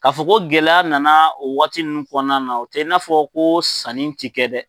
K'a fɔ ko gɛlɛya nana o waati ninnu kɔnɔna na u tɛ i n'a fɔ ko sanni tɛ kɛ dɛ.